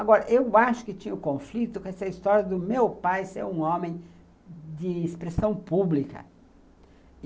Agora, eu acho que tinha o conflito com essa história do meu pai ser um homem de expressão pública.